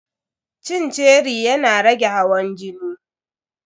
Cin ceri yana rage hawan jini.